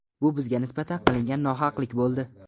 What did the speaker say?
Bu bizga nisbatan qilingan nohaqlik bo‘ldi.